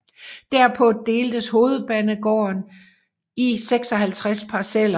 Derpå deltes hovedgården i 56 parceller